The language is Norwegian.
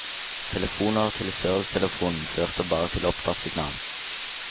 Telefoner til servicetelefonen førte bare til opptattsignal.